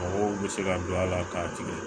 Mɔgɔw bɛ se ka don a la k'a tigɛ